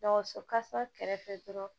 Dɔgɔso kasa kɛrɛfɛ dɔrɔn